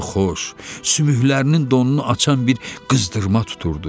Canını xoş, sümüklərinin donunu açan bir qızdırma tuturdu.